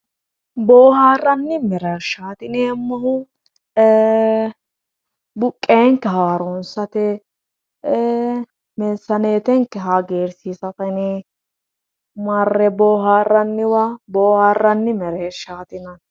Booharanni mereershati yineemmohu e"e buqenke haaronsate,e"e meesanettenke hagiirsiisate yinne marre booharranniwa booharanni mereershati yinnanni.